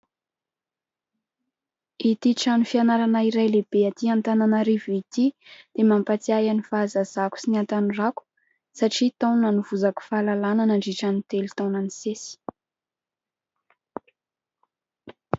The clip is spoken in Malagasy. Ity trano fianarana iray lehibe Antananarivo ity dia mampatsiahy ahy ny fahazazako sy ny hatanorako satria tao no nanovozako fahalalana nandritry ny telo taona nisesy.